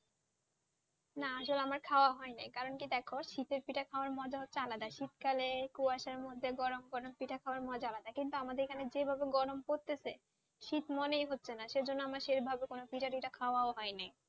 না ধরো আমার খাওয়া হয়নি কারণ কি দেখো শীত পিঠা খাওযা মজা আলাদা শীত কালে কুয়াশা মধ্যে গরম গরম পিঠা খাওয়া মজাই আলাদা কিন্তু আমাদের এখানে গরম পড়তেছে শীত মনে হচ্ছে না সেজন্য সেই ভাবে পিঠা খাওয়া হয় নি